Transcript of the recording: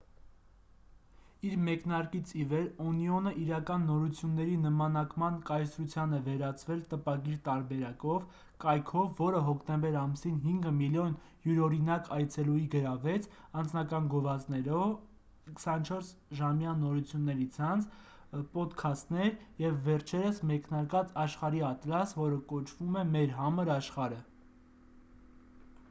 իր մեկնարկից ի վեր օնիոնը իրական նորությունների նմանակման կայսրության է վերածվել տպագիր տարբերակով կայքով որը հոկտեմբեր ամսին 5,000,000 յուրօրինակ այցելուի գրավեց անձնական գովազդներ 24-ժամյա նորությունների ցանց պոդքաստներ և վերջերս մեկնարկած աշխարհի ատլաս որը կոչվում է մեր համր աշխարհը։